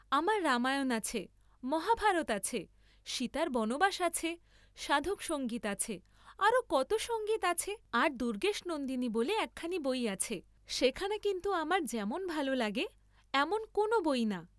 আমার রামায়ণ আছে, মহাভারত আছে, সীতার বনবাস আছে, সাধকসঙ্গীত আছে, আরো কত সঙ্গীত আছে, আর দুর্গেশনন্দিনী বলে একখানি বই আছে, সেখানা কিন্তু আমার যেমন ভাল লাগে এমন কোন বই না।